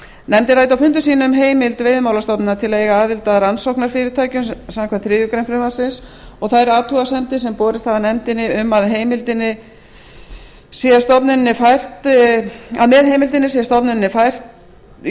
nefndin ræddi á fundum sínum heimild veiðimálastofnunar til að eiga aðild að rannsóknarfyrirtækjum samkvæmt þriðju greinar frumvarpsins og þær athugasemdir sem borist hafa nefndinni um að með heimildinni sé stofnuninni